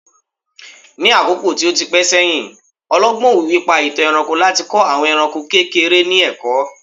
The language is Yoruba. ní àkókò tí o ti pẹ sẹyìn, ọlọgbọn òwìwí pa itan ẹranko láti kọ àwọn eranko kekere ni ẹkọ